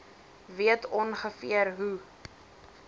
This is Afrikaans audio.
weet ongeveer hoe